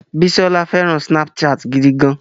Bísọ́lá fẹràn Snapchat gidi gan.